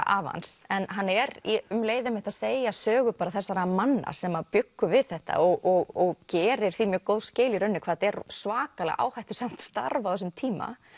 afa hans en hann er um leið að segja sögu þessara manna sem að bjuggu við þetta og gerir því mjög góð skil í rauninni hvað þetta er svakalega áhættusamt starf á þessum tíma